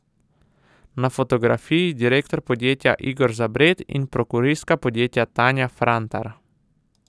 Na fotografiji direktor podjetja Igor Zabret in prokuristka podjetja Tanja Frantar.